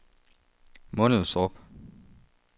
Mundelstrup